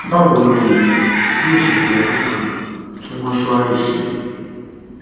báwo ni èèyàn yóò ṣe fi ọdún kan tún mọṣúárì ṣe